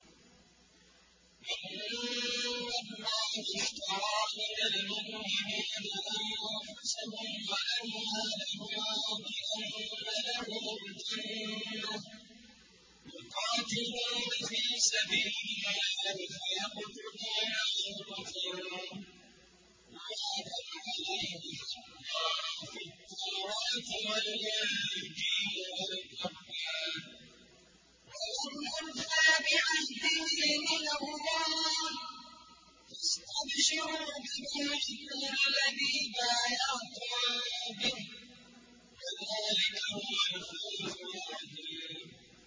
۞ إِنَّ اللَّهَ اشْتَرَىٰ مِنَ الْمُؤْمِنِينَ أَنفُسَهُمْ وَأَمْوَالَهُم بِأَنَّ لَهُمُ الْجَنَّةَ ۚ يُقَاتِلُونَ فِي سَبِيلِ اللَّهِ فَيَقْتُلُونَ وَيُقْتَلُونَ ۖ وَعْدًا عَلَيْهِ حَقًّا فِي التَّوْرَاةِ وَالْإِنجِيلِ وَالْقُرْآنِ ۚ وَمَنْ أَوْفَىٰ بِعَهْدِهِ مِنَ اللَّهِ ۚ فَاسْتَبْشِرُوا بِبَيْعِكُمُ الَّذِي بَايَعْتُم بِهِ ۚ وَذَٰلِكَ هُوَ الْفَوْزُ الْعَظِيمُ